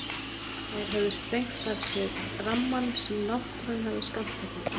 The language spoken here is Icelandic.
Þær höfðu sprengt af sér rammann sem náttúran hafði skammtað þeim.